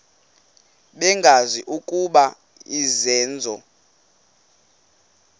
bengazi ukuba izenzo